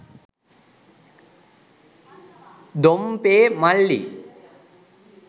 Dompe මල්ලී